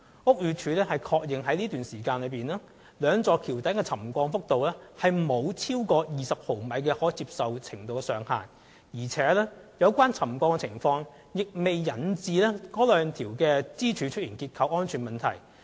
屋宇署確認該段期間，兩座橋躉的沉降幅度沒有超過20毫米的可接受程度上限，而且，有關沉降情況亦未引致該兩條支柱出現結構安全問題。